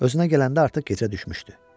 Özünə gələndə artıq gecə düşmüşdü.